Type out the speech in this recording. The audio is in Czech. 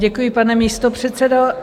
Děkuji, pane místopředsedo.